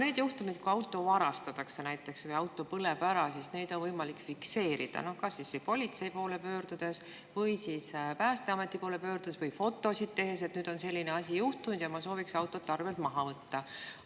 Neid juhtumeid, kui auto varastatakse või auto põleb ära, on võimalik fikseerida kas politsei poole pöördudes või Päästeameti poole pöördudes või fotosid tehes, et nüüd on selline asi juhtunud ja ma sooviksin auto arvelt maha võtta.